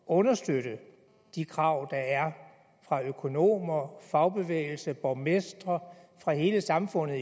understøtte de krav der er fra økonomer fagbevægelse borgmestre i virkeligheden fra hele samfundet